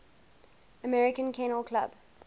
american kennel club